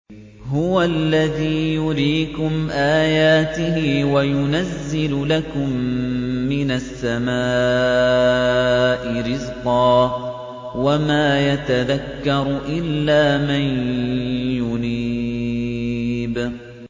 هُوَ الَّذِي يُرِيكُمْ آيَاتِهِ وَيُنَزِّلُ لَكُم مِّنَ السَّمَاءِ رِزْقًا ۚ وَمَا يَتَذَكَّرُ إِلَّا مَن يُنِيبُ